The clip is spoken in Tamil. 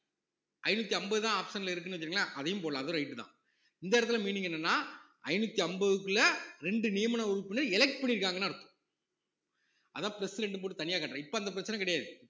ஐந்நூத்தி அம்பதுதான் option ல இருக்குன்னு வச்சுக்கோங்களேன் அதையும் போடலாம் அதுவும் right தான் இந்த இடத்துல meaning என்னன்னா ஐநூத்தி அம்பதுக்குள்ள ரெண்டு நியமன உறுப்பினர் elect பண்ணியிருக்காங்கன்னு அர்த்தம் அதான் plus ரெண்டும் போட்டு தனியா கட்டுறேன் இப்ப அந்த பிரச்சனை கிடையாது